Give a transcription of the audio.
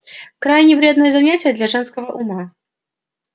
крайне вредное занятие для женского ума